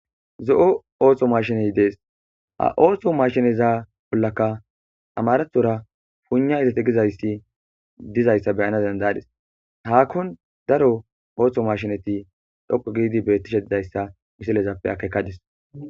Zo'o osso mashiney dees.ha osso maashineza bollankka amarathora puygna gizayssa be'ana dandadis.haakkon daro osso maashineti dhoqqu giidi dizayssa miselezappe akkekadis.